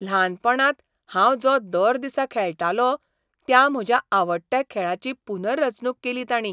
ल्हानपणांत हांव जो दर दिसा खेळटालों त्या म्हज्या आवडट्या खेळाची पुनर्रचणूक केली ताणीं!